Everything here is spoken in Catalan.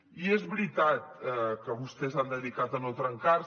i és veritat que vostès s’han dedicat a no trencar se